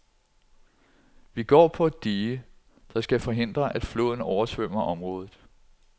Vi går på et dige, der skal forhindre, at floden oversvømmer området.